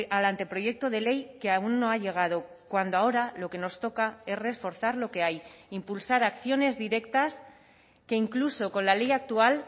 al anteproyecto de ley que aún no ha llegado cuando ahora lo que nos toca es reforzar lo que hay impulsar acciones directas que incluso con la ley actual